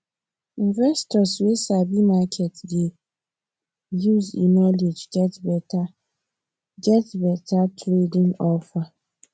investor wey sabi market dey use e knowledge get better get better trading offer